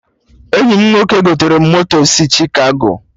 Enyi m nwoke gotere m moto si Chikago